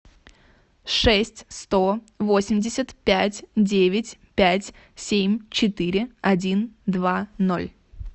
шесть сто восемьдесят пять девять пять семь четыре один два ноль